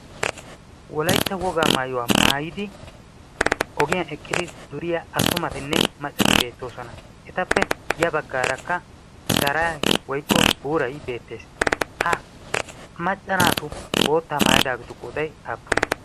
Wolaytta wogaa maayuwaa maayyidi ogiyaan eqqidi duriyaa attumatinne maccati beettoosona. etappe ya baggar dara woykko woray beettees. ha macca naatu bootta maayidaageetu qooday aappune?